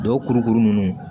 Dɔw kurukuru ninnu